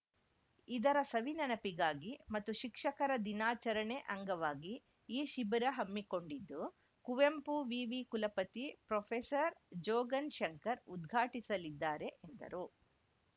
ಇದರ ಸವಿನೆನಪಿಗಾಗಿ ಮತ್ತು ಶಿಕ್ಷಕರ ದಿನಾಚರಣೆ ಅಂಗವಾಗಿ ಈ ಶಿಬಿರ ಹಮ್ಮಿಕೊಂಡಿದ್ದು ಕುವೆಂಪು ವಿವಿ ಕುಲಪತಿ ಪ್ರೊಫೆಸರ್ ಜೋಗನ್‌ ಶಂಕರ್‌ ಉದ್ಘಾಟಿಸಲಿದ್ದಾರೆ ಎಂದರು